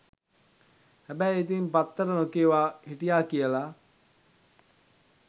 හැබැයි ඉතින් පත්තර නොකියවා හිටියා කියලා